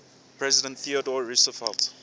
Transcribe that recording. president theodore roosevelt